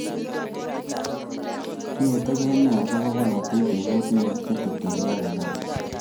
Inetigei nee agobo bolotet emotinwek che tetegei ak Uganda?